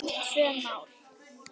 Tvö mál.